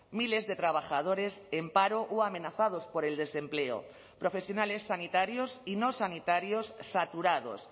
miles de trabajadores en paro o amenazados por el desempleo profesionales sanitarios y no sanitarios saturados